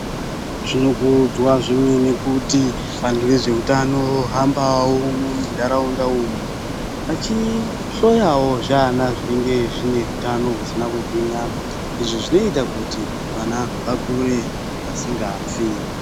Zvinokudzwa zvemene kuti anhu ezveutano vohamba mundaraunda umu vachihloyawo zvivana zvisina kugwinyaa izvi zvinoita kuti vana vakure vasingafi.